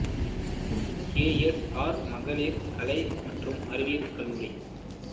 K S R மகளிர் கலை மற்றும் அறிவியல் கல்லூரி